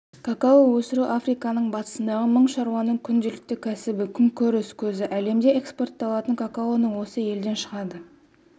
кокао өсіру африканың батысындағы мың шаруаның күнделікті кәсібі күнкөріс көзі әлемде экспортталатын какаоның осы елден шығады